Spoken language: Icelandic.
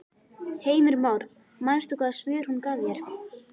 Heimir Már: Manst þú hvaða svör hún gaf þér?